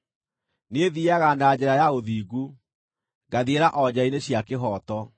Niĩ thiiaga na njĩra ya ũthingu, ngathiĩra o njĩra-inĩ cia kĩhooto,